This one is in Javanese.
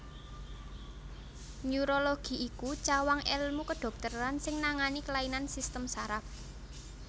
Neurologi iku cawang èlmu kedhokteran sing nangani kelainan sistem saraf